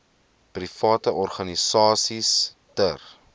private organisasies ter